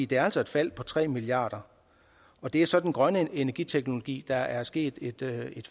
det er altså et fald på tre milliard kr og det er så den grønne energiteknologi der er sket et